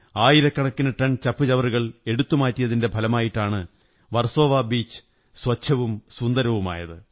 ആയിരക്കണക്കിന് ടൺ ചപ്പുചവറുകൾ എടുത്തുമാറ്റിയതിന്റെ ഫലമായിട്ടാണ് വര്സോ്വാ ബീച് സ്വച്ഛവും സുന്ദരവുമായത്